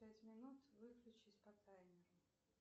пять минут выключить по таймеру